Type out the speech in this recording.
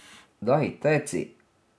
Daj, teci.